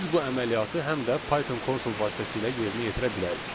Biz bu əməliyyatı həm də Python konsol vasitəsilə yerinə yetirə bilərik.